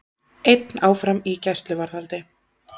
Einn áfram í gæsluvarðhaldi